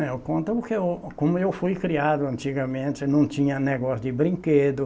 É eu conto o que eu, como eu fui criado antigamente, não tinha negócio de brinquedo.